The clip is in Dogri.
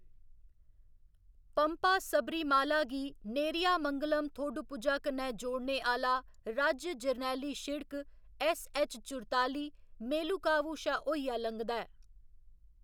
पम्पा सबरीमाला गी नेरियामंगलम थोडुपुझा कन्नै जोड़ने आह्‌‌‌ला राज्य जरनैली शिड़क ऐस्सऐच्च चुरताली मेलुकावु शा होइयै लंघदा ऐ।